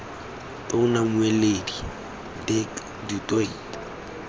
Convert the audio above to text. tona mmueledi dirk du toit